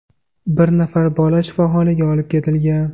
Bir nafar bola shifoxonaga olib ketilgan.